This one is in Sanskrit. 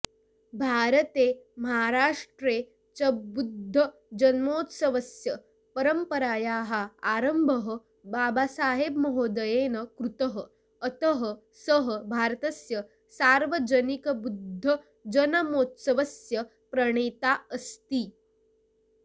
भारते महाराष्ट्रे च बुद्धजन्मोत्सवस्य परम्परायाः आरम्भः बाबासाहेबमहोदयेन कृतः अतः सः भारतस्य सार्वजनिकबुद्धजन्मोत्सवस्य प्रणेता अस्ति